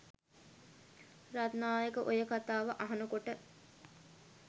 රත්නායක ඔය කතා අහන කොට